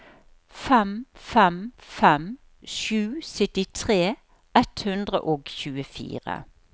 fem fem fem sju syttitre ett hundre og tjuefire